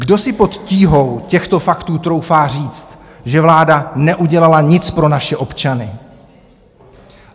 Kdo si pod tíhou těchto faktů troufá říct, že vláda neudělala nic pro naše občany?